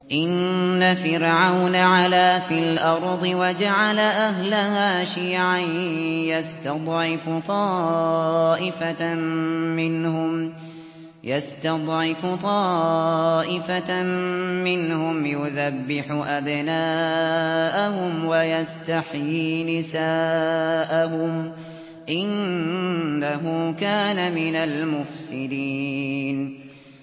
إِنَّ فِرْعَوْنَ عَلَا فِي الْأَرْضِ وَجَعَلَ أَهْلَهَا شِيَعًا يَسْتَضْعِفُ طَائِفَةً مِّنْهُمْ يُذَبِّحُ أَبْنَاءَهُمْ وَيَسْتَحْيِي نِسَاءَهُمْ ۚ إِنَّهُ كَانَ مِنَ الْمُفْسِدِينَ